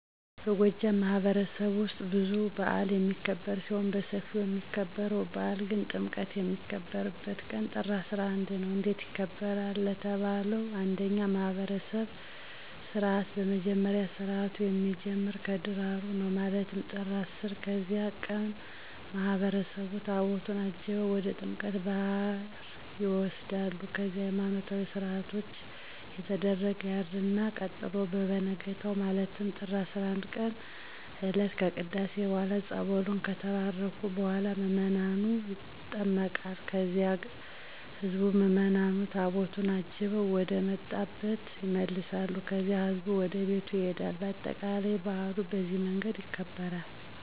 በጎጃም ማህበረሰብማህበረሰብ ውስጥ ብዙ በአል የሚክብር ሲሆን በስፊው የሚከበርው በአል ግን ጥምቀት የሚከበርበት ቀን ጥር 11 ነው። እንዴት ይከበራል ለተባለው እንደኛ ማህብረሰብ ስርዓት በመጀመሪያ ስርአቱ የሚጀምረው ከደራሩ ነው ማለትም ጥር 10 ቀን በዚያን ቀን ማህበረሰቡ ታቦታቱን አጅበው ወደ ጥምቀተ ባህር ይሆዳሉ ከዚያም ሀይማኖታዊ ስነስርአት እየተደረገ ያድርል ቀጥሎ በቨነጋው ማለትም ጥር 11ቀን እለት ከቅዳሴ በኋላ ፀበሉን ከባረኩ በኋላ ምዕመኑ ይጠመቃል ከዚያም ህዝብ ምዕምኑ ታቦቱን አጅበው ወደመጣብ ይመለሳል ከዚያም ህዝቡ ወደቤቱ ይሄዳል በአጠቃላይ በአሉ በዚህ መንገድ ይከበራል።